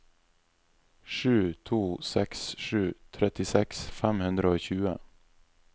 sju to seks sju trettiseks fem hundre og tjue